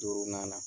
Duurunan na